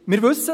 Wir wissen: